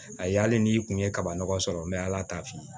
A ye hali n'i kun ye kaba nɔgɔ sɔrɔ n bɛ ala ta f'i ye